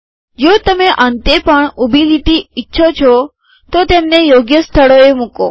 જો તમે અંતે પણ ઊભી લીટી ઈચ્છો છો તો તેમને યોગ્ય સ્થળોએ મુકો